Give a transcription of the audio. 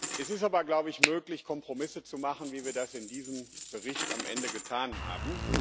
Es ist aber, glaube ich, möglich, Kompromisse zu machen, wie wir das in diesem Bericht am Ende getan haben.